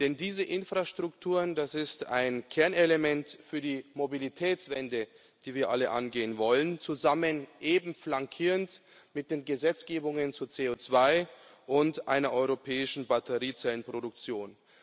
Denn diese Infrastrukturen, das ist ein Kernelement für die Mobilitätswende, die wir alle angehen wollen, zusammen eben flankierend mit den Gesetzgebungen zu CO2 und einer europäischen Batteriezellenproduktion.